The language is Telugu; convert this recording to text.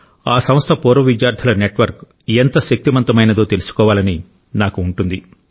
ఆ సంస్థ పూర్వ విద్యార్థుల నెట్వర్క్ ఎంత శక్తిమంతమైనదో తెలుసుకోవాలని నాకు ఉంటుంది